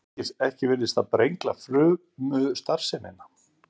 ekki virðist það brengla frumustarfsemina